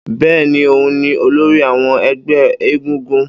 Bẹ́ẹ́ni, òun ni olórí àwọn ẹgbẹ́ egúngún